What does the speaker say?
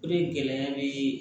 O de gɛlɛya be